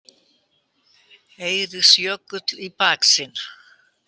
Eiríksjökull í baksýn.